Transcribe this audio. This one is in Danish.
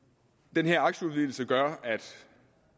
den her aktieudvidelse gør at